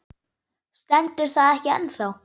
Stendur það ekki ennþá?